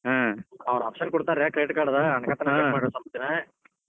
ಹಾ ಅವರ್ option ಕೊಡ್ತಾರ credit card ಅನಾಕತನ ಸ್ವಲ್ಪ ದಿನಾ.